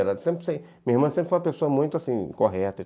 Minha irmã sempre foi uma pessoa muito, assim, correta.